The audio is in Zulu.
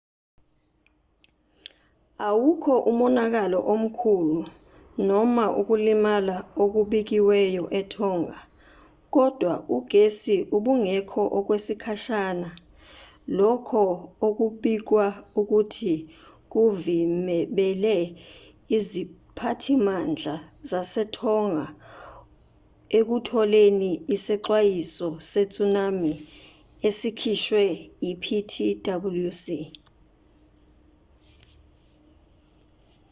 awukho umonakalo omkhulu noma ukulimala okubikiwe etonga kodwa ugesi ubungekho okwesikhashana lokho okubikwa ukuthi kuvimebele iziphathimandla zasetonga ekutholeni isexwayiso setsunami esikhishwe iptwc